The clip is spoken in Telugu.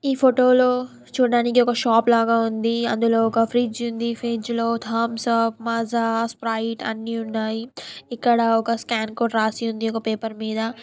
ఈ ఫోటో లో చూడడానికి షాప్ లాగా ఉంది. అందులో ఒక ఫ్రిజ్ ఉంది. ఫ్రిజ్లో థమ్స్ అప్ మజా స్ప్రైట్ అన్ని ఉన్నాయి. ఇక్కడ ఒక స్కాన్ కోడు రాసి ఉంది పేపర్ మీద.